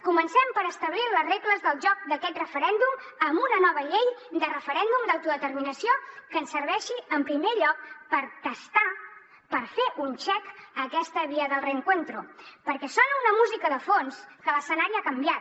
comencem per establir les regles del joc d’aquest referèndum amb una nova llei de referèndum d’autodeterminació que ens serveixi en primer lloc per testar per fer un check a aquesta vía del reencuentroha canviat